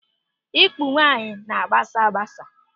Ikpu nwaanyị na-agbasa agbasa.